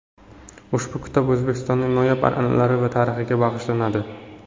Ushbu kitob O‘zbekistonning noyob an’analari va tarixiga bag‘ishlanadi.